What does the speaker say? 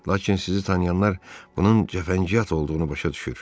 Lakin sizi tanıyanlar bunun cəfəngiyat olduğunu başa düşür.